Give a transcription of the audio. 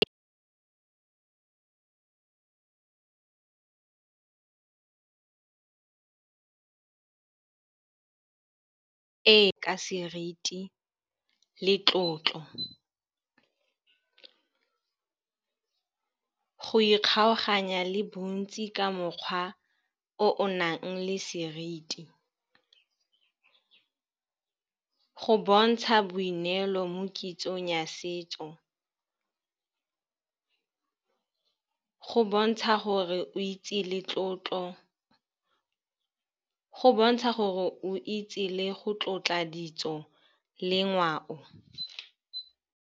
Ee, ka seriti le tlotlo. Go ikgaoganya le bontsi ka mokgwa o o nang le seriti, go bontsha boineeleo mo kitsong ya setso, go bontsha gore o itse le go tlotla ditso le ngwao.